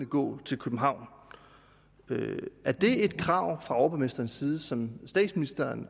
gå til københavn er det et krav fra overborgmesterens side som statsministeren